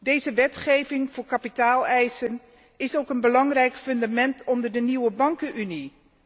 Deze wetgeving voor kapitaaleisen is ook een belangrijk fundament onder de nieuwe bankenunie.